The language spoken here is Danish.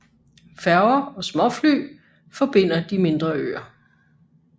Færger og småfly forbinder de mindre øer